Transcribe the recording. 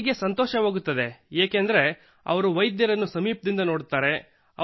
ರೋಗಿಗೆ ಸಂತೋಷವಾಗುತ್ತದೆ ಏಕೆಂದರೆ ಅವರು ವೈದ್ಯರನ್ನು ಸಮೀಪದಿಂದ ನೋಡುತ್ತಾರೆ